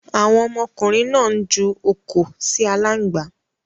Àwon ọmọkùnrin náà n ju òkò si alángbá